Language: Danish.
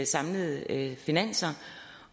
samlede finanser